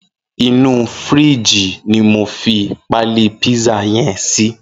Inú fírìjí ni mó fi pàlí pizza yèn si